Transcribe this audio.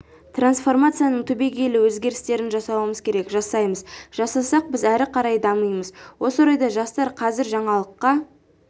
трансформацияның түбегейлі өзгерістерін жасауымыз керек жасаймыз жасасақ біз әрі қарай дамимыз осы орайда жастар қазір жаңалыққа